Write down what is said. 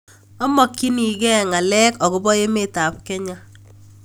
Amogyinig'ee ng'alek agobo emetap Kenya